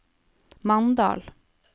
Mandal